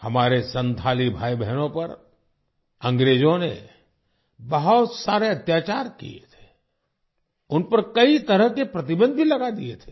हमारे संथाली भाई बहनों पर अंग्रेजों ने बहुत सारे अत्याचार किए थे उन पर कई तरह के प्रतिबंध भी लगा दिए थे